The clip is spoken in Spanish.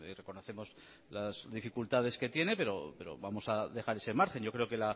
reconocemos las dificultades que tiene pero vamos a dejar ese margen yo creo que